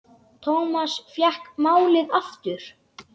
Thomas fékk málið aftur.